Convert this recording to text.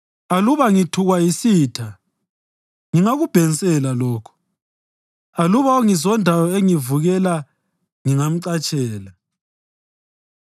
Aluba ngithukwa yisitha ngingakubhensela lokho; aluba ongizondayo engivukela ngingamcatshela.